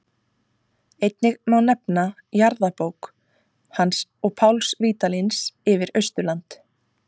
Einnig má nefna jarðabók hans og Páls Vídalíns yfir Austurland.